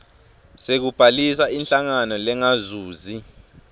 sekubhalisa inhlangano lengazuzi